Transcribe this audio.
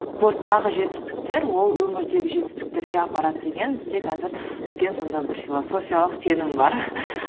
жетістіктер ол өмірдегі жетістіктерге апарады деген бізде қазір үлкен сондай бір философиялық сенім бар